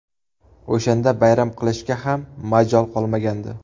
O‘shanda bayram qilishga ham majol qolmagandi.